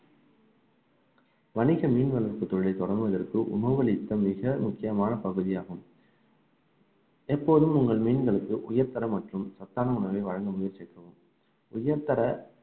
வணிக மீன் வளர்ப்பு தொழிலை தொடங்குவதற்கு உணவளித்த மிக முக்கியமான பகுதியாகும் எப்போதும் உங்கள் மீன்களுக்கு உயர்தர மற்றும் சத்தான உணவை வழங்க முயற்சிக்கவும் உயர்தர